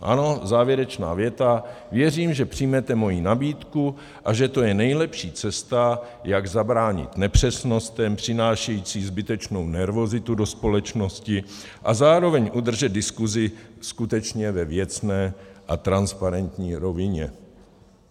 Ano, závěrečná věta: "Věřím, že přijmete moji nabídku a že to je nejlepší cesta, jak zabránit nepřesnostem přinášejícím zbytečnou nervozitu do společnosti a zároveň udržet diskuzi skutečně ve věcné a transparentní rovině."